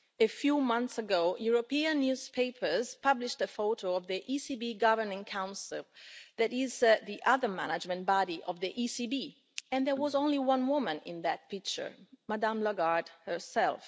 A few months ago, European newspapers published a photo of the ECB Governing Council, that is the other management body of the ECB, and there was only one woman in that picture Madame Lagarde herself.